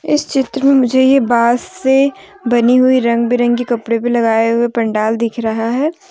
इस चित्र में मुझे ये बास से बनी हुई रंग बिरंगे कपड़े भी लगाए हुए पंडाल दिख रहा है।